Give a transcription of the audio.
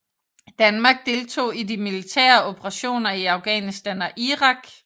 Danmark deltog i de militære operationer i Afghanistan og Irak